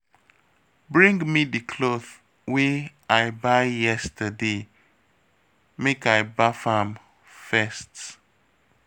Bring me the cloth wey I buy yesterday make I baff am first